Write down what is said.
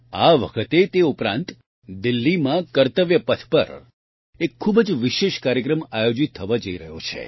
આ વખતે તે ઉપરાંત દિલ્હીમાં કર્તવ્ય પથ પર એક ખૂબ જ વિશેષ કાર્યક્રમ આયોજીત થવા થઇ રહ્યો છે